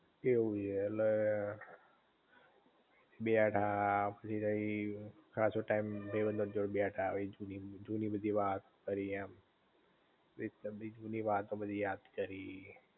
એવું છે ઍટલે, બેઠાપછી તય ખાસો ટાઇમ ભઈબંધો ની જોડે બેઠા જૂની બધી વાત કરી એમ, એકદમ થી જૂની વાતો બધી યાદ કરી